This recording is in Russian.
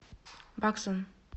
баксан